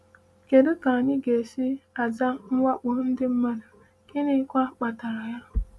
“Kedu ka anyị ga-esi aza mwakpo ndị mmadụ, gịnịkwa kpatara ya?”